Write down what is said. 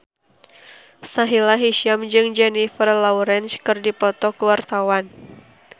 Sahila Hisyam jeung Jennifer Lawrence keur dipoto ku wartawan